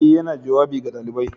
Ee, yana jawabi ga ɗalibai